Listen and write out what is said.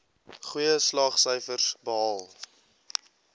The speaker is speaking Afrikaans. goeie slaagsyfers behaal